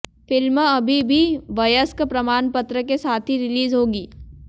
film अभी भी वयस्क प्रमाण पत्र के साथ ही रिलीज होगी